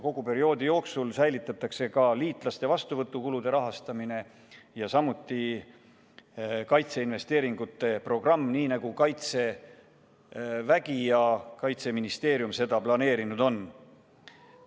Kogu perioodi jooksul on jõus ka liitlaste vastuvõtu kulude katmine, samuti kaitseinvesteeringute programm, nii nagu Kaitsevägi ja Kaitseministeerium seda planeerinud on.